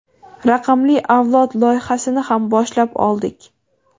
Raqamli avlod loyihasini ham boshlab oldik.